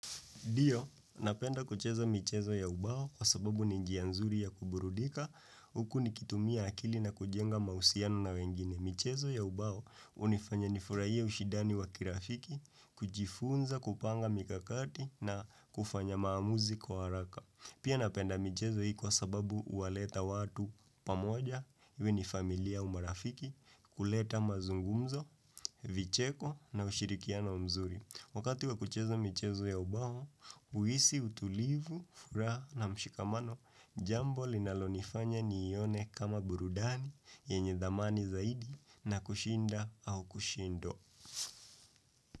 Ndio, napenda kucheza michezo ya ubao kwa sababu ni njia nzuri ya kuburudika, huku ni kitumia akili na kujenga mahusiano na wengine. Michezo ya ubao hunifanya nifurahia ushidani wa kirafiki, kujifunza, kupanga mikakati na kufanya maamuzi kwa haraka. Pia napenda michezo hii kwa sababu uwaleta watu pamoja, iwe ni familia au marafiki, kuleta mazungumzo, vicheko na ushirikiano mzuri. Wakati wakucheza michezo ya ubao, huisi utulivu, furaha na mshikamano, jambo linalonifanya ni yone kama burudani, yenye thamani zaidi, na kushinda au kushindo.